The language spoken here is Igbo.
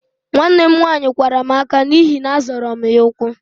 Nwanne m nwaanyị kwara m ákạ́ n'ihi na-azọra m ya ụkwụ